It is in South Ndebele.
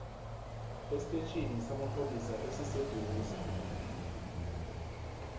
estetjhini samapholisa esiseduze